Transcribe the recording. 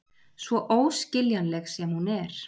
Svo óskiljanleg sem hún er.